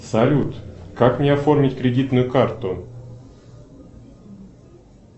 салют как мне оформить кредитную карту